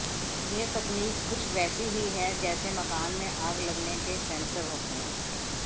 यह तकनीक कुछ वैसी ही है जैसे मकान में आग लगने के सेंसर होते हैं